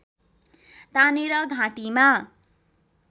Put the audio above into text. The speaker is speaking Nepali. तानेर घाँटीमा